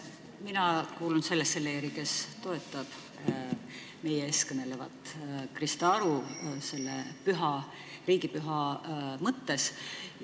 Mina kuulun sellesse leeri, kes toetab meie ees kõnelevat Krista Aru selle riigipüha mõttes.